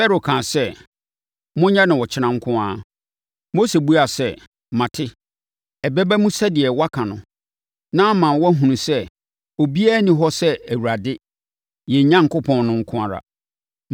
Farao kaa sɛ, “Monyɛ no ɔkyena nko ara.” Mose buaa sɛ, “Mate, ɛbɛba mu sɛdeɛ woaka no na ama woahunu sɛ obiara nni hɔ sɛ Awurade, yɛn Onyankopɔn, no nko ara.